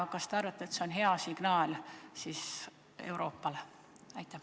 Ja kas te arvate, et see on hea signaal Euroopale?